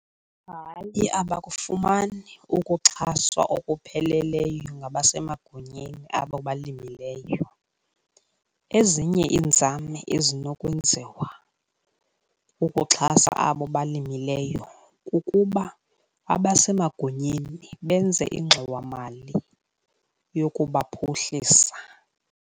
Hayi abakufumani ukuxhaswa okupheleleyo ngabasemagunyeni abo balimileyo. Ezinye iinzame ezinokwenziwa ukuxhasa abo balimileyo kukuba abasemagunyeni benze ingxowamali yokubaphuhlisa.